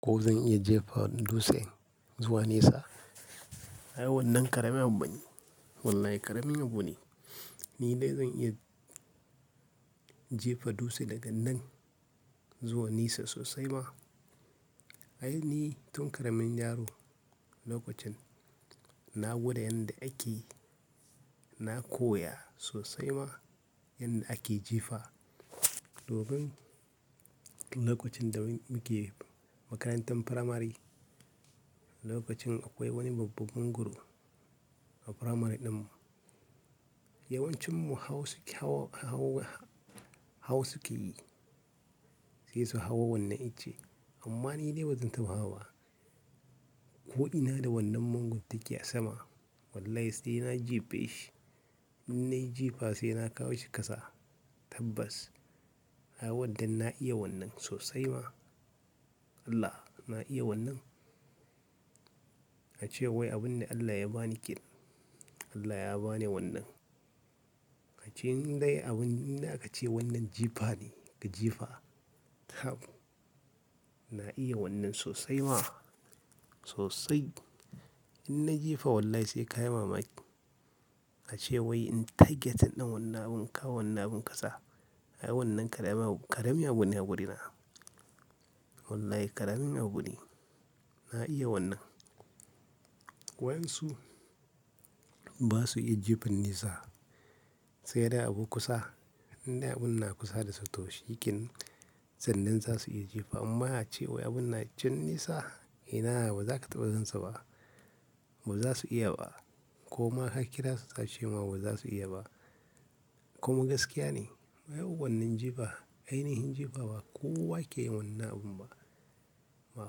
Ko zan iya jefa dutse zuwa nesa? Ai wannan ƙaramin abu bane. Wallahi ƙaramin abu ne. Ni dai zan iya jefa dutse daga nan zuwa nesa sosai ma. Ai ni tun ƙaramin yaro lokacin na gwada yadda ake, na koya sosai ma yadda ake jefa. Domin lokacin da muke makarantar firamare, lokacin akwai wani babban mongoro a firamare ɗin mu. Yawancinmu hawo suke yi, sai su hawo wannan icce. Amma ni dai ba zan taɓa hawaba. Ko ina da wannan mangoron take a sama. Wallahi sai na jefe shi. In na yi jefa sai na kawo shi ƙasa tabbas. Ai wannan na iya wannan sosai ma. Allah! Na iya wannan. A ce wai abun ne Allah ya ba ni ƙin. Allah ya ba ni wannan. A ce in dai abun ina ka ce wannan jefa ne ka jefa. Tab. Na iya wannan sosai ma sosai. In na jefa wallahi sai ka yi mamaki. A ce wai in tageta ɗin wannan abun kawo wannan abun ƙasa. Ai wannan ƙarami abu ne a wurina. Wallahi ƙaramin abu ne. Na iya wannan. Wa yansu ba su iya jefin nesa, sai dai abu kusa. In dai abun na kusa da su to shikenan sannan za su iya jefa. Amma a ce wai abun na cen nesa ina ba za ka taɓa zanta ba. Ba za su iya ba. Koma ka kira su ka ce ma ba za su iya ba. Koma gaskiya ne. Ai wannan jefa ai ni hin jefa ba kowa ke yin wannan abun ba. Ba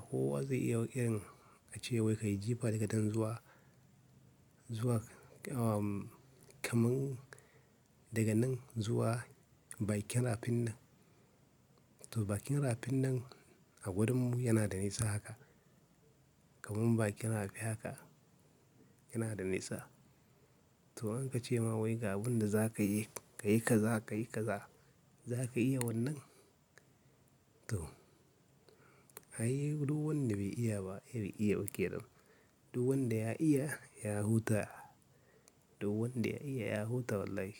kowa zai iya ƙiran a ce wai ka yi jefa daga nan zuwa, zuwa kamun daga nan zuwa bakin rafin nan. To bakin rafin nan a wurinmu yana da nesa haka. Kamun bakin rafi haka yana da nesa. To an ka ce ma wai ga abun da za ka yi, ka yi kaza, ka yi kaza, za ka iya wannan? To. Ai duk wanda bai iya ba bai iya ba ƙeɗam. Duk wanda ya iya ya huta. Duk wanda ya iya ya huta wallahi.